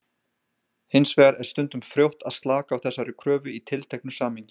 Hins vegar er stundum frjótt að slaka á þessari kröfu í tilteknu samhengi.